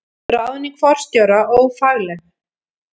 Ráðning forstjóra ófagleg